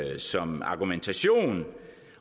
som argumentation